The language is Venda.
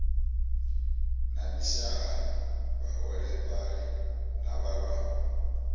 na mishahani vhaholefhali na vhalwaho